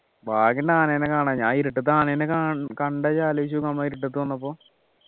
ഭാഗ്യന്നെ ആനേന കാണഞ്ഞേ ആ ഇരുട്ടത്ത് ആനേന കൺ കണ്ട നീ ആലോചിച്ചു നോക്ക് നമ്മൾ ആ ഇരുട്ടത്ത് വന്നപ്പോ